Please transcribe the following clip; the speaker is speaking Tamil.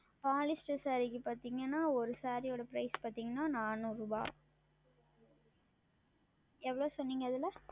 Polister Saree க்கு பார்த்தீர்கள் என்றால் ஓர் Saree உடைய Prize பார்த்தீர்கள் என்றால் நானுரு ரூபாய் எவ்வளவு சொன்னீர்கள் அதில்